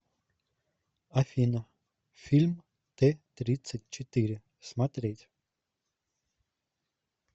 афина фильм тэ тридцать четыре смотреть